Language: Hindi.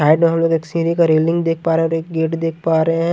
साइड में हम लोग एक सीरी का रेलिंग देख पा रहे हैं और एक गेट देख पा रहे हैं।